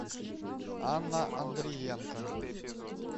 анна андриенко